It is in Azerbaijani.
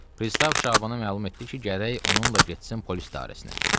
Pristav Şabanı məlum etdi ki, gərək onunla getsin polis idarəsinə.